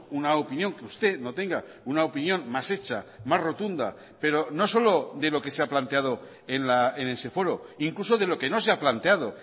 una opinión que usted no tenga una opinión más hecha más rotunda pero no solo de lo que se ha planteado en ese foro incluso de lo que no se ha planteado